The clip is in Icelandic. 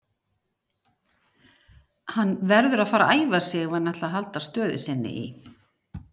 Hann verður að fara að æfa sig ef hann ætlar að halda stöðu sinni í